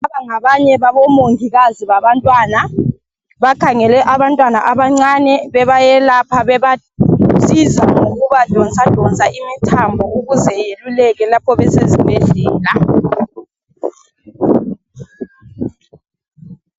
Laba ngabanye babomongikazi babantwana. Bakhangele abantwana abancane bebayelapha bebasiza lokubadonsa donsa imithambo ukuze beluleke lapho besezibhedlela